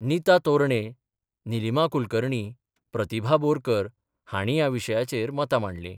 निता तोरणे, निलीमा कुलकर्णी, प्रतिभा बोरकर हांणी या विशयाचेर मतां मांडली.